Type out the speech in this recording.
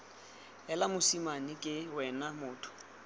heela mosimane ke wena motho